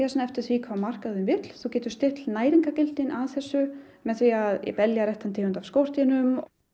eftir því hvað markaðurinn vill þú getur stillt næringargildið að þessu með því að velja rétta tegund af skordýrum